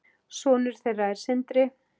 Sonur þeirra er Sindri.